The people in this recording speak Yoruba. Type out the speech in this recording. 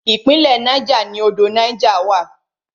Ìpínlẹ̀ Niger ni odò Niger wà.